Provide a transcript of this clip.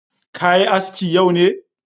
Ka yi aski yau ne?